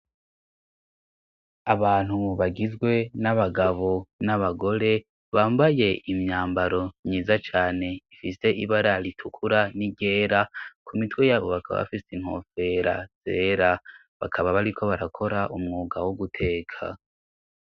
Abantu bagizwe n'abagabo n'abagore bambaye imyambaro myiza cane ifise ibara ritukura n'iryera ku mitwe yabo bakaba bafise intofera zera bakaba bariko barakora umwuga wo guteka.